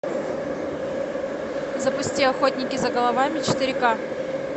запусти охотники за головами четыре ка